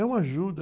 É uma ajuda.